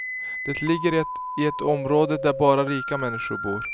Det ligger i ett område där bara rika människor bor.